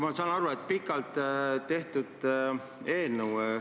Ma saan aru, et see on pikalt tehtud eelnõu.